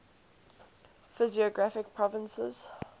physiographic provinces